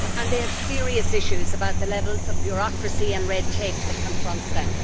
They have serious issues with the levels of bureaucracy and red tape that confront them.